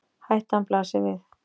Hættan blasti við